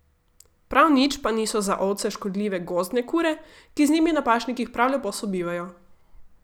Prav nič pa niso za ovce škodljive gozdne kure, ki z njimi na pašnikih prav lepo sobivajo.